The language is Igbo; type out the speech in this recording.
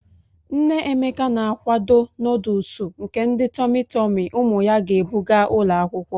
Nne Emeka na-akwado nọdụlsụ nke ndi tọmị tọmị ụmụ ya ga-ebu gaa ụlọ akwụkwọ.